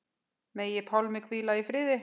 Megi Pálmi hvíla í friði.